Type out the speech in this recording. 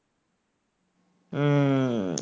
উম